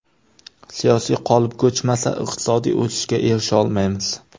Siyosiy qolip ko‘chmasa, iqtisodiy o‘sishga erisha olmaymiz.